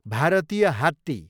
भारतीय हात्ती